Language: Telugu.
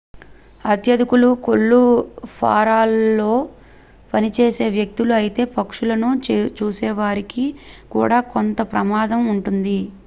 అత్యధికులు కోళ్ల ఫారాలలో పనిచేసే వ్యక్తులు అయితే పక్షులను చూసేవారికి కూడా కొంత ప్రమాదం ఉంటుంది